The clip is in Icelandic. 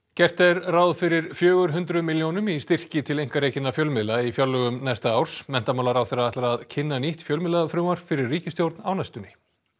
gert er ráð fyrir fjögur hundruð milljónum í styrki til einkarekinna fjölmiðla í fjárlögum næsta árs menntamálaráðherra ætlar að kynna nýtt fjölmiðlafrumvarp fyrir ríkisstjórn á næstunni